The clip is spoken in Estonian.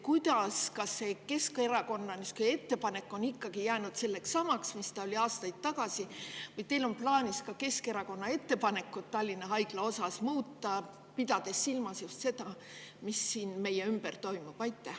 Kas Keskerakonna ettepanek on ikkagi jäänud samaks, mis see oli aastaid tagasi, või on teil plaanis Keskerakonna ettepanekut Tallinna Haigla kohta muuta, pidades silmas just seda, mis meie ümber toimub?